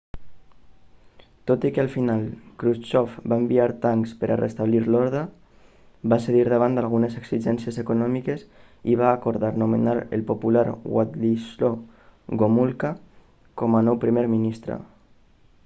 tot i que al final krusxov va enviar tancs per restablir l'ordre va cedir davant d'algunes exigències econòmiques i va acordar nomenar el popular wladislaw gomulka com a nou primer ministre